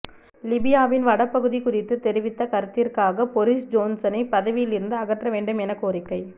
லிபியாவின் வடபகுதி குறித்து தெரிவித்த கருத்திற்காக பொறிஸ் ஜோன்சனை பதவியிலிருந்து அகற்றவேண்டும் என கோரிக்கை